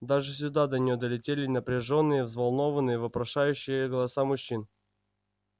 даже сюда до нее долетали напряжённые взволнованные вопрошающие голоса мужчин